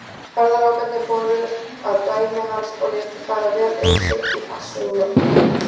Ferðalangarnir fóru að dæmi hans og létu fara vel um sig í forsælunni.